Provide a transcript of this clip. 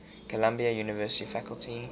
columbia university faculty